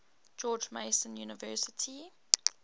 george mason university